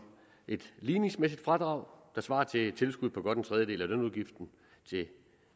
et ligningsmæssigt fradrag der svarer til et tilskud på godt en tredjedel af lønudgiften i